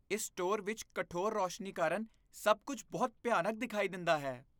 ਇਸ ਸਟੋਰ ਵਿੱਚ ਕਠੋਰ ਰੋਸ਼ਨੀ ਕਾਰਨ ਸਭ ਕੁੱਝ ਬਹੁਤ ਭਿਆਨਕ ਦਿਖਾਈ ਦਿੰਦਾ ਹੈ।